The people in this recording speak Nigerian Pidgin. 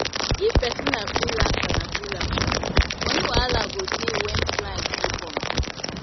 If person na freelancer, money wahala go dey when client no come